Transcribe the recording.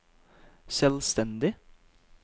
selvstendig